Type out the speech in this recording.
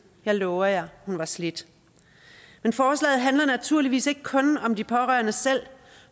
jeg lover jer at hun var slidt men forslaget handler naturligvis ikke kun om de pårørende selv